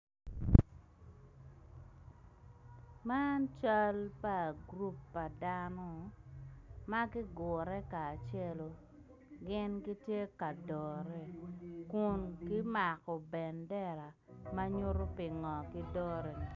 Man cal pa gurup pa dano ma gugure kacelu gin gitye ka dore kun gimako ban dera ma nyuto pingo gidore.